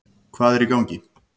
Hvað er í gangi?